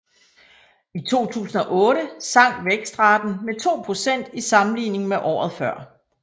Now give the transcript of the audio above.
I 2008 sank vækstraten med 2 procent i sammenligning med året før